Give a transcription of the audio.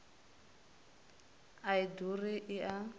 a i ḓuri i a